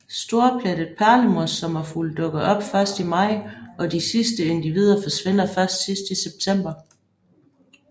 Storplettet perlemorsommerfugl dukker op først i maj og de sidste individer forsvinder først sidst i september